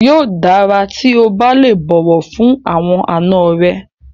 Yóò dára tí o bá lè bọ̀wọ̀ fún àwọn àna rẹ.